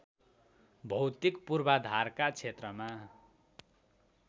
भौतिक पूर्वधारका क्षेत्रमा